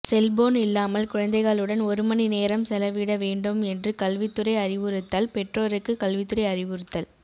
cellphone இல்லாமல் குழந்தைகளுடன் ஒரு மணி நேரம் செலவிட வேண்டும் என்று கல்வித்துறை அறிவுறுத்தல் பெற்றோருக்கு கல்வித்துறை அறிவுறுத்தல்